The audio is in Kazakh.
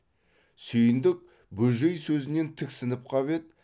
сүйіндік бөжей сөзінен тіксініп қап еді